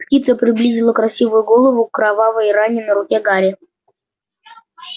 птица приблизила красивую голову к кровавой ране на руке гарри